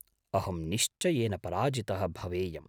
अहं निश्चयेन पराजितः भवेयम्।